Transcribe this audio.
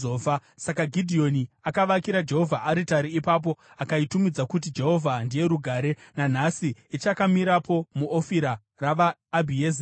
Saka Gidheoni akavakira Jehovha aritari ipapo akaitumidza kuti Jehovha Ndiye Rugare. Nanhasi ichakamirapo muOfira ravaAbhiezeri.